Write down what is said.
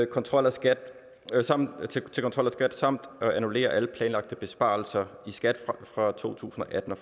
kontrol af skat samt at annullere alle planlagte besparelser i skat fra to tusind og atten og